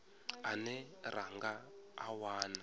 ane ra nga a wana